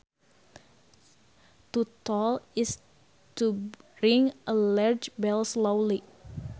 To toll is to ring a large bell slowly